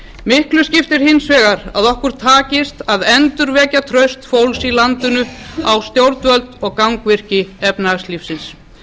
miklu skiptir hins vegar að okkur takist að endurvekja traust fólks í landinu á stjórnvöld og gangvirki efnahagslífsins